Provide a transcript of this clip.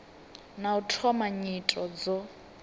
na u thoma nyito dzo